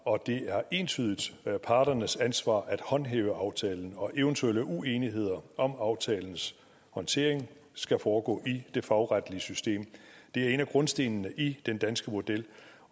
og det er entydigt parternes ansvar at håndhæve aftalen og eventuelle uenigheder om aftalens håndtering skal foregå i det fagretlige system det er en af grundstenene i den danske model